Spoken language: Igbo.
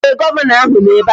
Ee, Gọvanọ ahụ nọ ebe a